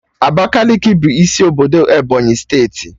Abakaliki bụ isi obodo Ebonyi steeti